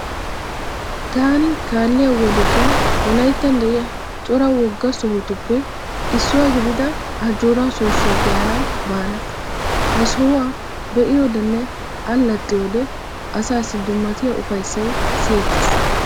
Taani kaalliya wodetun wolaittan de'iya cora wogaa sohotuppe issuwa gidida Ajjooraa soossuwa be'anawu baana. Ha sohuwa be'iyodenne allaxxiyode asaassi dummatiya ufayissay siyettees.